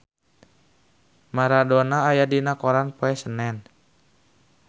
Maradona aya dina koran poe Senen